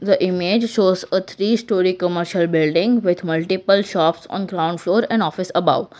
the image shows a three storey commercial building with multiple shops on ground floor and office above.